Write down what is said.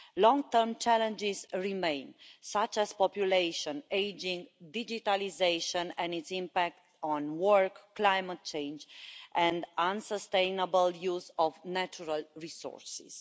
Long term challenges remain, such as population ageing, digitalisation and its impact on work, climate change and unsustainable use of natural resources.